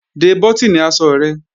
De bọ́tìnì aṣọ rẹ!